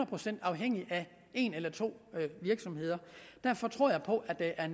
procent afhængig af en eller to virksomheder derfor tror jeg på at der er